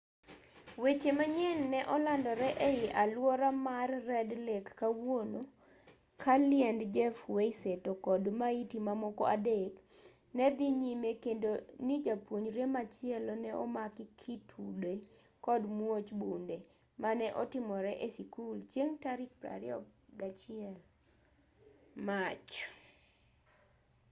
weche manyien ne olandore ei alwora mar red lake kawuono ka liend jeff weise to kod maiti mamoko adek ne dhi nyime kendo ni japuonjre machielo ne omaki kitude kod muoch bunde mane otimore e sikul chieng' tarik 21 mach